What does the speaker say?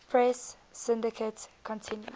press syndicate continued